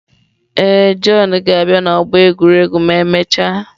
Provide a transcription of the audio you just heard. Ee, Jọn ga-abịa n'ọgbọ egwuregwu ma emechaa.